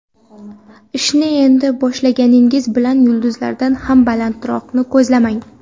Ishni endi boshlashingiz bilan yulduzlardan ham balandroqni ko‘zlamang.